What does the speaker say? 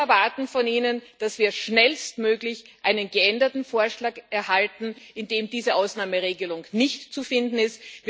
Wir erwarten von Ihnen, dass wir schnellstmöglich einen geänderten Vorschlag erhalten, in dem diese Ausnahmeregelung nicht zu finden ist.